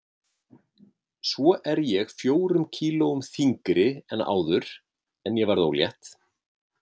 Svo er ég fjórum kílóum þyngri en áður en ég varð ólétt.